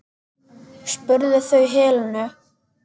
spurðu þau Helenu.